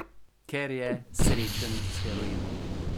Ker je srečen s heroinom.